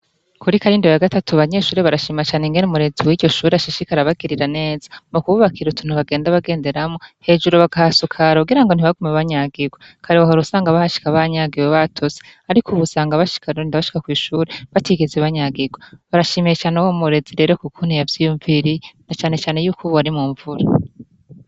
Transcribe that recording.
Kuri karindo yagatatu abanyeshure barashima cane ingene umurezi wiryo shure ashishikara abagirira neza mu kububakira utuntu bagenda bagenderamwo hejuru bakahasakara kugira ntibagume banyagigwa kare wahora usanga bahashika banyagiwe batose ariko ubu usanga barinda bashika kw'ishure batigeze banyagigwa, barashimiye cane uwo murezi rero ukukuntu yavyiyunviriye na cane cane yuko ubu ari munvura.